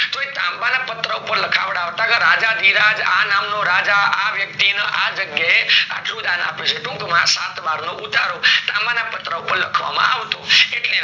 તો એ તાંબા નાં પત્ર પર લખાવાડતા કે રાજા ધીરાજ આ નામ નો રાજા આ વ્યક્તિ ને આ જગ્યા એ આટલું દાન આપ્યું છે ટૂંક માં સાત વાર નો ઉતારો તાંબા નાં પત્ર પર લખવા માં આવતો એટલે એને તામ્રપત્ર